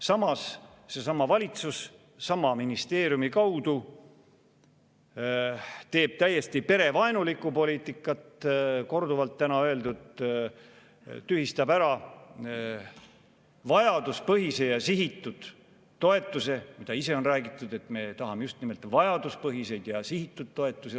Samas, seesama valitsus sama ministeeriumi kaudu ajab täiesti perevaenulikku poliitikat, nagu täna korduvalt öeldud, tühistab ära vajaduspõhise ja sihitud toetuse, ehkki ise on rääkinud, et me tahame rohkem just nimelt vajaduspõhiseid ja sihitud toetusi.